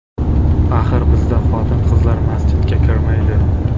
Axir bizda xotin-qizlar masjidga kirmaydi.